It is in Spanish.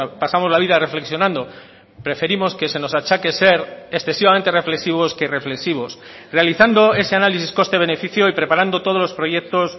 pasamos la vida reflexionando preferimos que se nos achaque ser excesivamente reflexivos que reflexivos realizando ese análisis coste beneficio y preparando todos los proyectos